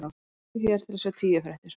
Smelltu hér til að sjá tíu fréttir